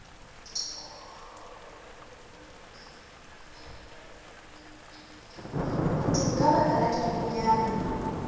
kutung ka baka la dibokonyana